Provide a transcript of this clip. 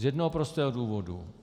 Z jednoho prostého důvodu.